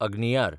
अग्नियार